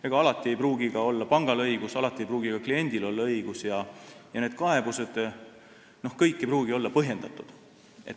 Ega alati ei pruugi pangal õigus olla, alati ei pruugi ka kliendil õigus olla ja kõik need kaebused ei pruugi olla põhjendatud.